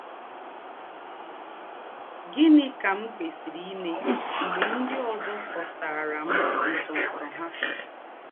Gị̀nị́ kà m kwèsìrì íme m̀gbè ńdị́ ózọ kọ̀sàrà m̀ ńsọ̀nsọ̀ ha?